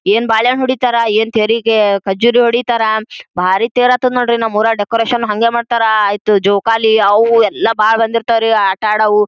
ಏನ್ ಬಾಳೆಹಣ ಹೂಡಿತರ್ ಏನ್ ತೆರಿಗೆ ಖಜ್ಜುರಿ ಹೊಡಿತರ್ ಬಾರ್ ತೇರ್ ಆತ್ತದ್ ನೋಡ್ರಿ ನಮ್ಮ ಉರಗ್ ಡೆಕೋರೇಷನ್ ಹಂಗೆ ಮಾಡತ್ತರ್ ಆಯಿತ್ತು ಜೋಕಾಲಿ ಅವು ಎಲ್ಲಾ ಬಾಳ್ ಬಂದಿರತ್ವ್ ಆಟ ಆಡವು.